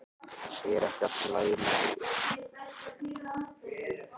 Er ekki allt lagi með þig?